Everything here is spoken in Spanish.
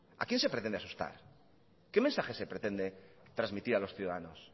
a quién se pretende asustar qué mensaje se pretende transmitir a los ciudadanos